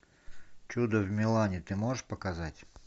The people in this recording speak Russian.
чудо в милане ты можешь показать